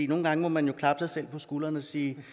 nogle gange må man klappe sig selv på skulderen og sige